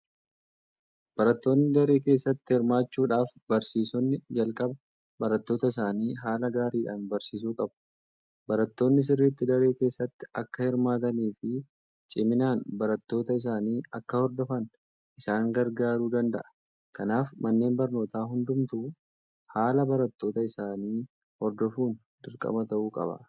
Barattoonni daree keessatti hirmaachuudhaaf barsiisonni jalqaba barattoota isaanii haala gaariidhaan barsiisuu qabu. Barattoonni sirriitti daree keessatti akka hirmaataniifi ciminaan barnoota isaanii akka hordofan isaan gargaaruu danda'a. Kanaaf manneen barnootaa hundumtuu haala barattoota isaanii hordofuun dirqama ta'uu qaba.